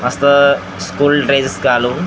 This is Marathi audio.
असं स्कूल ड्रेस घालून --